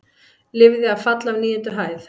Lifði af fall af níundu hæð